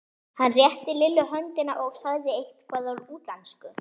Hann rétti Lillu höndina og sagði eitthvað á útlensku.